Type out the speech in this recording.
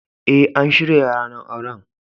Eh, an shirya ranan auren.